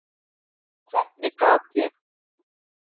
Hvernig gat ég.